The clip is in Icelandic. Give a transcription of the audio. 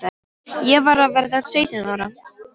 Ég var að verða sautján ára.